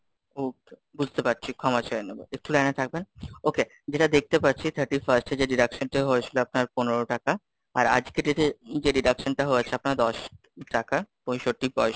okay, বুঝতে পারছি ক্ষমা চেয়ে নেবো, একটু লাইনে থাকবেন, okay, যেটা দেখতে পাচ্ছি thirty-first এ যে deduction হয়েছিল আপনার পনেরো টাকা, আর আজ কেটেচে যে deduction হয়েছে, আপনার দশ টাকা পঁয়ষট্টি পয়সা,